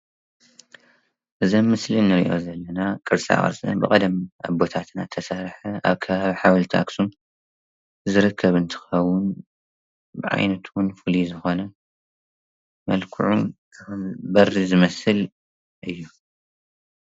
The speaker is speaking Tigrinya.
እዚ ኣብ ምስሊ እንሪእዮ ዘለና ቅርሳ ቅርሲ ብቀደም ብወለድታትና ዝተሰረሓ ኣብ ከባቢ ኣኽሱም ዝርከብ እንትኸውን ብዓይነቱ ፍሉይ ዝኾነ መልክዑ በሪ ዝመስል እዩ።